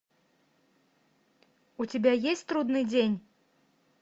у тебя есть трудный день